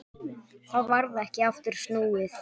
Þá varð ekki aftur snúið.